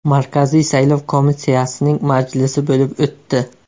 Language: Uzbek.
Markaziy saylov komissiyasining majlisi bo‘lib o‘tdi.